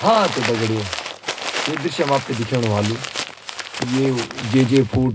हाँ त दगडियों यु दृश्य म आपथे दिखेणु ह्वालू की ये ओ जेजे फूड् ।